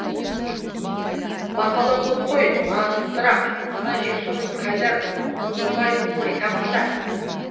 мақала көп қой нақтырақ ана жексұрын қайдар көмірбайұлын айтамын да